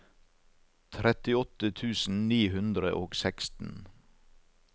trettiåtte tusen ni hundre og seksten